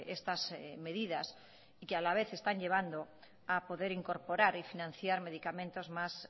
estas medidas y que a la vez están llevando a poder incorporar y financiar medicamentos más